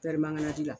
mananji la